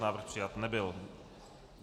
Návrh přijat nebyl.